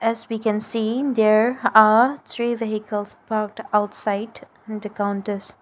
As we can see there are three vehicles parked outside and counters.